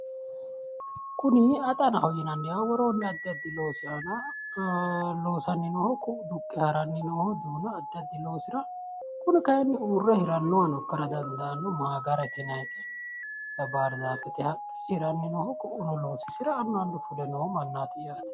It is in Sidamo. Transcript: kuni axanahor yinanniha woroonni addi addi loosi aana loosanni nooho ku'u duqqe haranni nooho duuna addi addi loosira kuni kayiinni uurre hirannohano ikkara dandaanno maagarete yinannita bardaafete haqqe hiranni noohu ku'u loosisira annu annu fule nooho mannaati yaate.